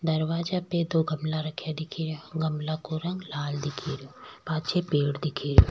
दरवाजा पे दो गमला रखा दिख रा गमला को रंग लाल दिख रो पाछे पेड़ दिख रो।